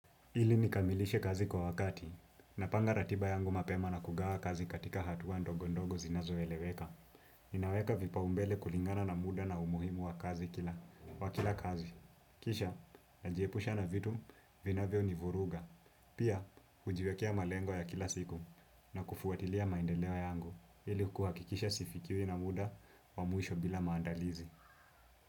Ili nikamilishe kazi kwa wakati, napanga ratiba yangu mapema na kugawa kazi katika hatua ndogo ndogo zinazoeleweka. Ninaweka vibao mbele kulingana na muda na umuhimu wa kazi kila, wa kila kazi. Kisha, najiepusha na vitu, vinavyonivuruga. Pia, hujiwekea malengo ya kila siku na kufuatilia maendeleo yangu, ili kuhakikisha sifikiwi na muda wa mwisho bila maandalizi.